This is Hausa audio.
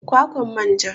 Palm fruit=kwakwan manja